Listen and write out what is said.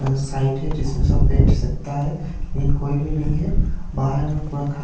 अह site हैं जिसमें सब बैठ सकता है लेकिन कोई भी नहीं है बाहर में पूरा खा--